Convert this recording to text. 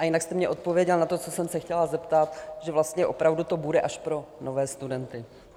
A jinak jste mně odpověděl na to, co jsem se chtěla zeptat, že vlastně opravdu to bude až pro nové studenty.